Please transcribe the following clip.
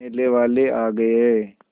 मेले वाले आ गए